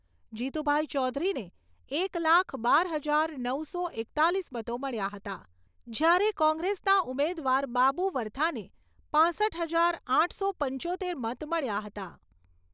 જીતુભાઈ ચૌધરીને એક લાખ બાર હજાર નવસો એકતાલીસ મતો મળ્યા હતા, જ્યારે કોંગ્રેસના ઉમેદવાર બાબુ વરથાને પાંસઠ હજાર આઠસો પંચોતેર મત મળ્યા હતા.